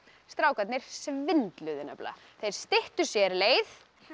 strákarnir svindluðu nefnilega þeir styttu sér leið